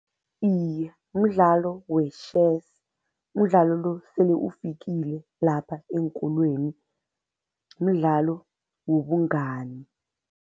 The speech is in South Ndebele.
Iye, mdlalo we-chess. Umdlalo lo sele ufikile lapha eenkolweni, mdlalo wobungani.